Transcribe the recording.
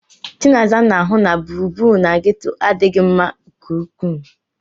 Chinaza na-ahụ na gburugburu na ghetto adịghị mma nke ukwuu.